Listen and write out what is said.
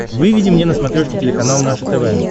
выведи мне на смотрешке телеканал наше тв